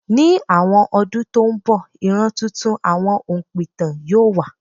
Ní àwọn ọdún tó ń bọ̀, ìran tuntun àwọn òǹpìtàn yóò wà.